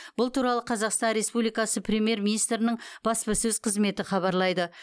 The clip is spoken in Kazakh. бұл туралы қазақстан республикасы премьер министрінің баспасөз қызметі хабарлайды